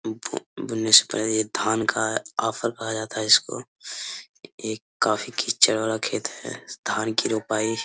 बु बुनने से पहले ये धान का आफर कहा जाता है इसको ये काफी कीचड़ वाला खेत है धान की रोपाई --